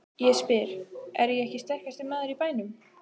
Ég spyr: Er ég ekki sterkasti maður í bænum?